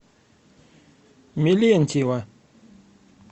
мелентьева